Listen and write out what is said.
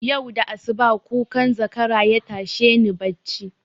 Yau da asuba kukan zakara yatashe ni bacci